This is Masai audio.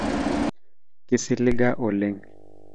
kisiliga oleng